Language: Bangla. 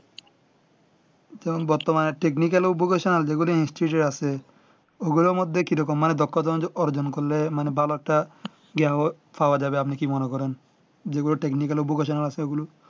তোমার বক্তব্য মানে technical education যে গুলি instiued এ আছে ও গুলার মধ্যে কি রকম মানে দক্ষতা অর্জন করলে মানে ভালোএকটা পারা যাবে আপনি কি মনে করেন যে ওই technical education এ আছে ওগুলো